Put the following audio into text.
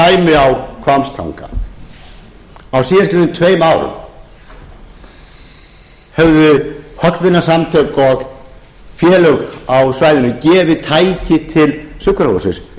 hvammstanga sem dæmi síðustu tvö árin höfðu hollvinasamtök og félög á svæðinu gefið tæki til sjúkrahússins upp á